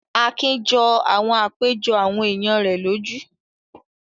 Akin jọ àwọn àpéjọ àwọn èèyàn rẹ̀ lójú